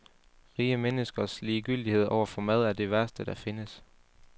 Rige menneskers ligegyldighed over for mad er det værste, der findes.